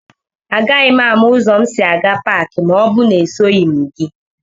Agaghị m ámá ụzọ m si aga Pááki ma ọ bụrụ na esoghị m gị